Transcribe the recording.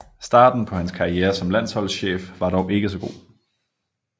Starten på hans karriere som landsholdschef var dog ikke så god